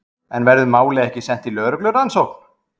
En verður málið ekki sent í lögreglurannsókn?